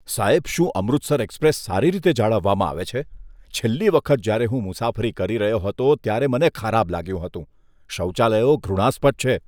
સાહેબ, શું અમૃતસર એક્સપ્રેસ સારી રીતે જાળવવામાં આવે છે? છેલ્લી વખત જ્યારે હું મુસાફરી કરી રહ્યો હતો ત્યારે મને ખરાબ લાગ્યું હતું. શૌચાલયો ઘૃણાસ્પદ છે.